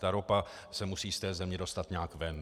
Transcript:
Ta ropa se musí z té země dostat nějak ven.